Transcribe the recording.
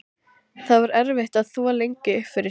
Það var erfitt að þvo lengi upp fyrir sig.